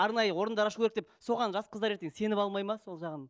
арнайы орындар ашу керек деп соған жас қыздар ертең сеніп алмайды ма сол жағын